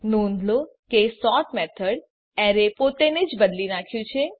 નોંધ લો કે સોર્ટ મેથડે એરે પોતે ને જ બદલી નાખ્યું છે